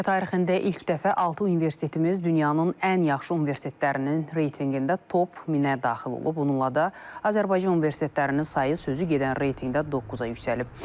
Ölkə tarixində ilk dəfə altı universitetimiz dünyanın ən yaxşı universitetlərinin reytinqində top 1000-ə daxil olub, bununla da Azərbaycan universitetlərinin sayı sözü gedən reytinqdə 9-a yüksəlib.